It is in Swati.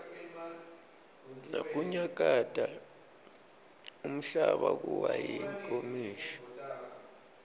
nakunyakata umhlaba kuwa tinkomishi